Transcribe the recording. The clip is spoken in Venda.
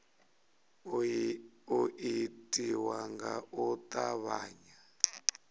u itiwa nga u tavhanya